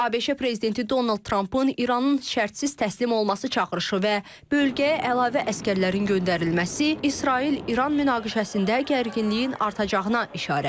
ABŞ prezidenti Donald Trampın İranın şərtsiz təslim olması çağırışı və bölgəyə əlavə əsgərlərin göndərilməsi İsrail-İran münaqişəsində gərginliyin artacağına işarədir.